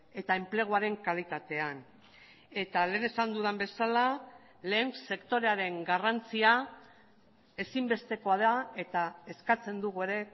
eta enpleguaren kalitatean eta lehen esan dudan bezala lehen sektorearen garrantzia ezinbestekoa da eta eskatzen dugu ere